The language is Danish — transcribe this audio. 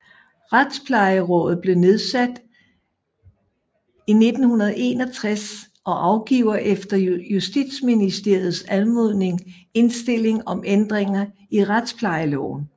Retsplejerådet blev nedsat i 1961 og afgiver efter Justitsministeriets anmodning indstilling om ændringer i retsplejeloven